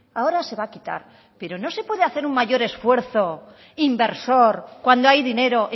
ahora se va a quitar pero no se puede hacer un mayor esfuerzo inversor cuando hay dinero